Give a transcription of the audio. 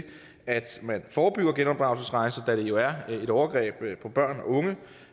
at man forebygger genopdragelsesrejser da det jo er et overgreb på børn og unge